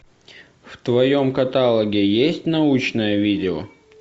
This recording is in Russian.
в твоем каталоге есть научное видео